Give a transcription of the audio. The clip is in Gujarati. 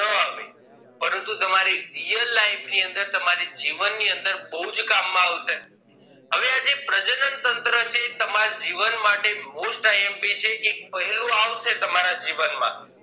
પરંતુ તમારી real life ની અંદર તમારી જીવન ની અંદર બહુજ કામ માં આવશે હવે આ જે પ્રજનન તંત્ર છે એ તમાર જીવન માટે most imp છે કે એક પહેલું આવશે તમારા જીવનમાં